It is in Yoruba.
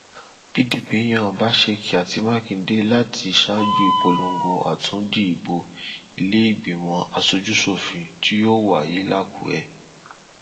]cs] pdp yan ọbaseki àti mákindè láti ṣaájú ìpolongo àtúndì ìbò ìlèégbìmọ aṣojúṣòfin tí yóò wáyé làkúrẹ